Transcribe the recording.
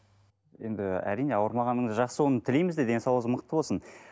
енді әрине ауырмағаныңыз жақсы оны тілейміз де денсаулығыңыз мықты болсын